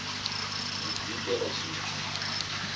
u diitela tshithu i do